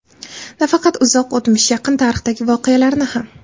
Nafaqat uzoq o‘tmish, yaqin tarixdagi voqealarni ham.